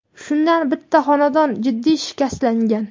shundan bitta xonadon jiddiy shikastlangan.